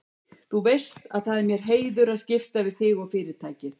Þú veist að það er mér heiður að skipta við þig og Fyrirtækið.